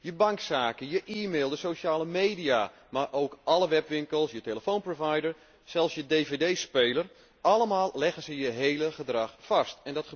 Je bankzaken, je e mail, de sociale media, maar ook alle webwinkels, je telefoonprovider, zelfs je dvd speler, allemaal leggen ze je gedrag vast.